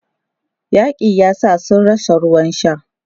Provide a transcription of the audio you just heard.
Yaƙin yasa sun rasa ruwan sha.